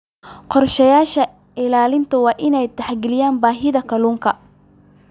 Qorshayaasha ilaalinta waa in ay tixgeliyaan baahida kalluunka.